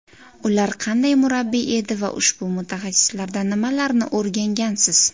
Ular qanday murabbiy edi va ushbu mutaxassislardan nimalarni o‘rgangansiz?